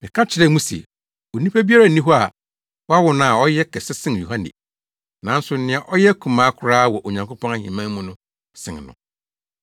Meka kyerɛ mo se onipa biara nni hɔ a wɔawo no a ɔyɛ kɛse sen Yohane. Nanso nea ɔyɛ akumaa koraa wɔ Onyankopɔn ahemman mu no sen no.”